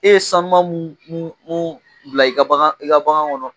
E ye sanuman mun mun bila i ka bagan kɔnɔ